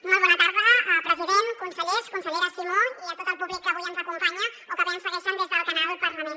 molt bona tarda president consellers consellera simó i a tot el públic que avui ens acompanya o que bé ens segueixen des del canal parlament